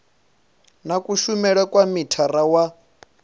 na kushumele kwa mithara wa